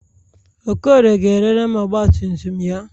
Okorie ga-erere m ọgbatumtum ya.